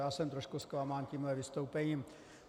Já jsem trošku zklamán tímto vystoupením.